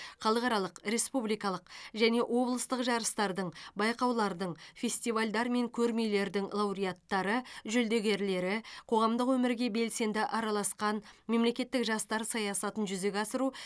халықаралық республикалық және облыстық жарыстардың байқаулардың фестивальдар мен көрмелердің лауреаттары жүлдегерлері қоғамдық өмірге белсенді араласқан мемлекеттік жастар саясатын жүзеге асыру